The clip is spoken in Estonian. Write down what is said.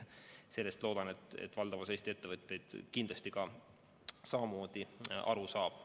Sellest loodetavasti valdav osa Eesti ettevõtjaid ka aru saab.